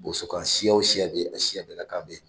Boso kan siya o siya bɛ yen a siya bɛɛ ka kan bɛ yen